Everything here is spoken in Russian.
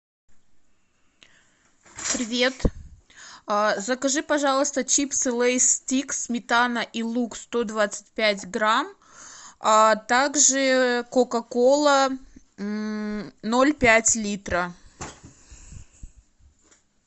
привет закажи пожалуйста чипсы лейс стик сметана и лук сто двадцать пять грамм а так же кока кола ноль пять литра